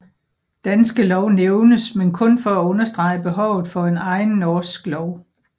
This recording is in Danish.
Danske Lov nævnes men kun for at understrege behovet for en egen norsk lov